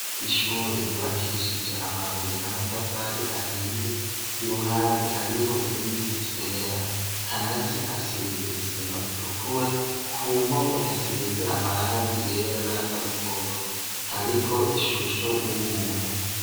Ishure giwakishije amabuye n'amatafari ahiye i ruhande hariho ibiti vyera hasi hasize isima itukura ku mpome hasize amarangi yera n'asa n'umuhondo hariko ishusho y'umuntu.